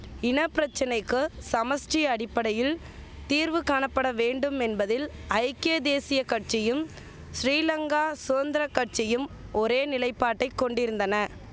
இனபிரச்சனைக்கு சமஷ்டி அடிப்படையில் தீர்வு காணப்பட வேண்டுமென்பதில் ஐக்கிய தேசிய கட்சியும் ஸ்ரீலங்கா சுதந்திர கட்சியும் ஒரே நிலைப்பாட்டை கொண்டிருந்தன